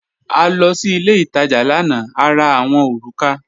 A lọ sí ilẹ̀ itaja lána, à rà awọn orúkà.